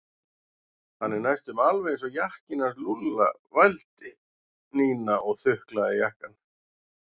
Hann er næstum alveg eins og jakkinn hans Lúlla vældi Nína og þuklaði jakkann.